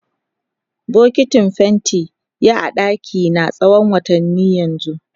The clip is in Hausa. Bokitin fenti ya a dakina tsawon watanni yanzu.